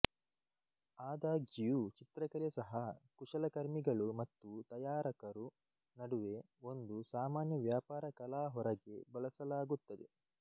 ಆದಾಗ್ಯೂ ಚಿತ್ರಕಲೆ ಸಹ ಕುಶಲಕರ್ಮಿಗಳು ಮತ್ತು ತಯಾರಕರು ನಡುವೆ ಒಂದು ಸಾಮಾನ್ಯ ವ್ಯಾಪಾರ ಕಲಾ ಹೊರಗೆ ಬಳಸಲಾಗುತ್ತದೆ